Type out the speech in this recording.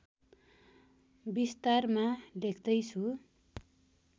विस्तारमा लेख्दै छु